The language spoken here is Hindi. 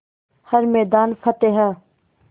हर मैदान फ़तेह